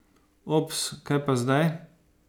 Ops, kaj pa zdaj?